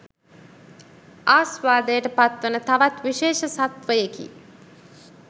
ආස්වාදයට පත්වන තවත් විශේෂ සත්වයෙකි